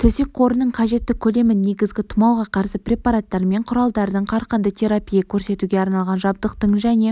төсек қорының қажетті көлемін негізгі тұмауға қарсы препараттар мен құралдардың қарқынды терапия көрсетуге арналған жабдықтың және